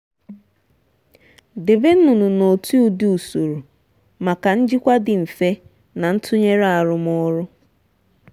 debe nnụnụ n'otu ụdị usoro maka njikwa dị mfe na ntụnyere arụmọrụ.